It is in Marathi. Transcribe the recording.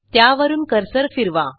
त्यावरून कर्सर फिरवा